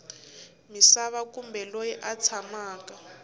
misava kumbe loyi a tshamaka